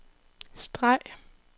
streg